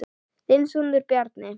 Þinn sonur, Bjarni.